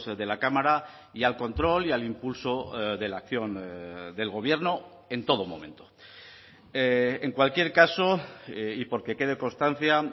de la cámara y al control y al impulso de la acción del gobierno en todo momento en cualquier caso y por que quede constancia